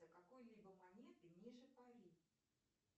какой либо монеты ниже пари